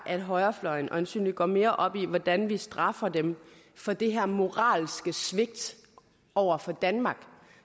at højrefløjen øjensynligt går mere op i hvordan vi straffer dem for det her moralske svigt over for danmark